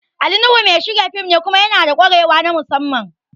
Ali Nuhu mai shirya fim ne kuma yanada ƙwarewa na musamman